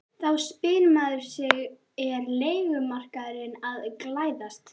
Þá spyr maður sig er leigumarkaðurinn að glæðast?